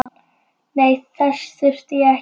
Nei, þess þurfti ég ekki.